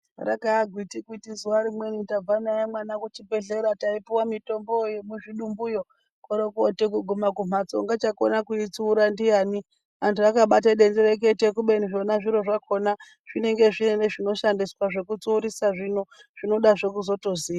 Rakaagwitikwiti zuva rimweni tabva naye mwana kuchibhedhlera taipuwa mitomboyo yemuzvidumbuyo. Koorokooti kuguma kumhatso ungachakona kuitsiura ndiyani. Antu akabate denderekete. Kubeni zvona zviro zvakona zvinenge zviine zvekutsiurisa zvino, zvinodazve kuzotoziya.